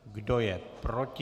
Kdo je proti?